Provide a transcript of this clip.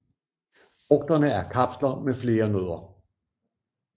Frugterne er kapsler med flere nødder